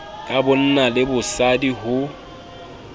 ya bonna le bosadi ho